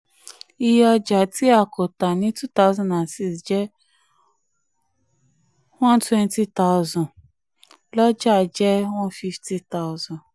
iye ọjà tí a kò tà two thousand and six jẹ́ one twenty thousand lọ́jà jẹ́ one fifty thousan d.